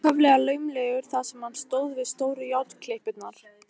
Hann var ákaflega laumulegur þar sem hann stóð við stóru járnklippurnar.